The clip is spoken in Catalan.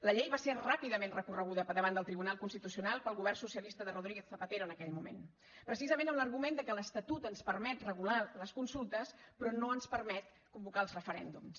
la llei va ser ràpidament recorreguda davant del tribunal constitucional pel govern socialista de rodríguez zapatero en aquell moment precisament amb l’argument que l’estatut ens permet regular les consultes però no ens permet convocar els referèndums